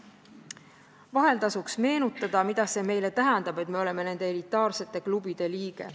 Vahel tasuks meenutada, mida see meile tähendab, et me oleme nende elitaarsete klubide liige.